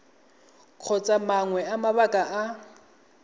kgotsa mangwe a mabaka a